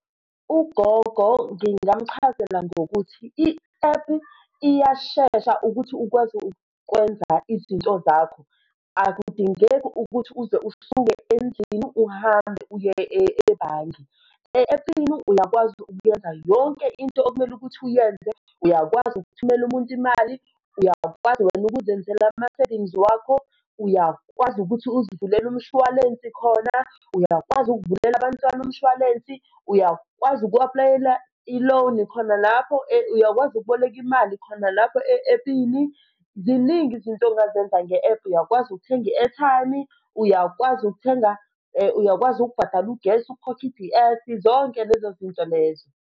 Ugogo, ngingamchazela ngokuthi i-app iyashesha ukuthi ukwazi ukwenza izinto zakho, akudingeki ukuthi uze usuke endlini uhambe uye ebhange, e-ephini uyakwazi ukwenza yonke into okumele ukuthi uyenze. Uyakwazi ukuthumela umuntu imali, uyakwazi wena ukuzenzela ama-savings wakho, uyakwazi ukuthi uzivulele umshwalensi khona, uyakwazi ukuvulela abantwana umshwalensi, uyakwazi uku-apulayela i-loan khona lapho, uyakwazi ukuboleka imali khona lapho e-ephini. Ziningi izinto ongazenza nge-ephu, uyakwazi ukuthenga i-airtime-i, uyakwazi ukuthenga, uyakwazi ukubhadala ugesi ukhokhe i-D_S, zonke lezo zinto lezo.